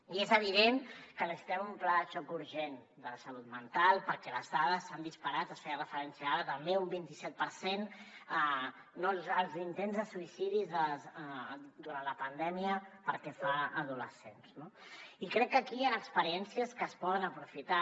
i és evident que necessitem un pla de xoc urgent de la salut mental perquè les dades s’han disparat s’hi feia referència ara també un vint set per cent no els intents de suïcidi durant la pandèmia pel que fa a adolescents no i crec que aquí hi han experiències que es poden aprofitar